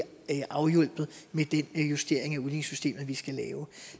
afhjulpet med den justering af udligningssystemet vi skal lave